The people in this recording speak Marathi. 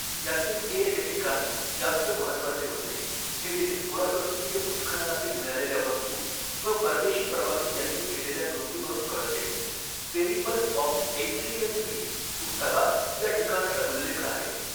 यातील तेर हे ठिकाण जास्त महत्त्वाचे होते हे येथील पुरातत्त्वीय उत्खननातील मिळालेल्या वस्तू व परदेशी प्रवासी यांनी केलेल्या नोंदी वरून कळते Periplus of the Erythraean Sea पुस्तकात या ठिकाणाचा उल्लेख आहे